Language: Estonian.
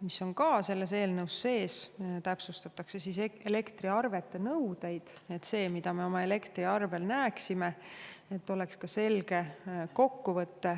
mis on ka selles eelnõus sees, siis täpsustatakse elektriarvete nõudeid, et see, mida me oma elektriarvel näeme, oleks selge kokkuvõte.